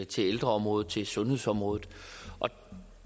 til ældreområdet til sundhedsområdet